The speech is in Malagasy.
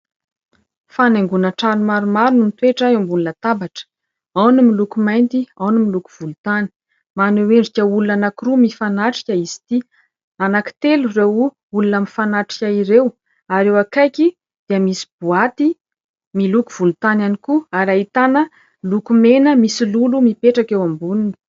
Fanaingoana trano maromaro no mitoetra eo ambony latabatra. Ao ny miloko mainty, ao ny miloko volontany. Maneho endrika olona anankiroa mifanatrika izy ity. Anankitelo ireo olona mifanatrika ireo, ary eo akaiky dia misy boaty miloko volontany ihany koa ary ahitana loko mena misy lolo mipetraka eo amboniny.